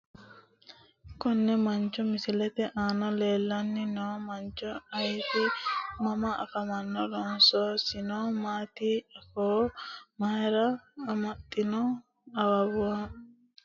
Konne mancho misilete aana leelani noo mancho ayiiti mama afamano loosolisino maati afoo mayira amaxino awuuwe noosinso dinosi afinooniri hani kule`e?